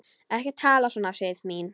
Ekki tala svona, Sif mín!